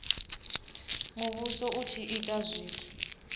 muvhuso u tshi ita zwithu